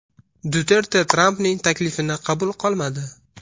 Duterte Trampning taklifini qabul qilmadi.